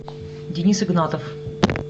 денис игнатов